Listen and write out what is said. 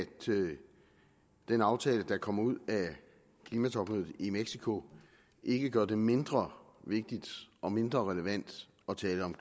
den aftale der kom ud af klimatopmødet i mexico ikke gør det mindre vigtigt og mindre relevant at tale om